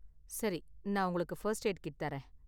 சரி, நான் உங்களுக்கு ஃபர்ஸ்ட் எய்டு கிட் தரேன்.